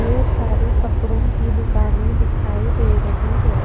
ये सारी कपड़ो की दुकाने दिखाई दे रही है।